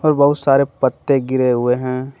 बहुत सारे पत्ते गिरे हुए हैं।